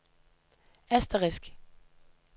asterisk